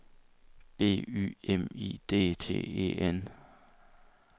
B Y M I D T E N